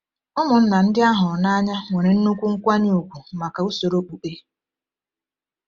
Ụmụnna ndị a hụrụ n’anya nwere nnukwu nkwanye ùgwù maka usoro okpukpe.